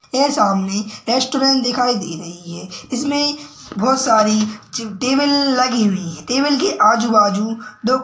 ये सामने रैस्टौरेंट दिखाई दे रही हैं इसमे बहुत सारी ची टेबल लगी हुई हैं। टेबल के आजूबाजू दो--